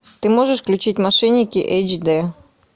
ты можешь включить мошенники эйч дэ